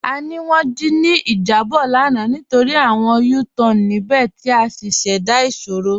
A ní wọn dí ní ijàbọ̀ lána nítorí awọn U-Tan níbẹ̀ ti a ṣíṣẹ́dá ìṣòro.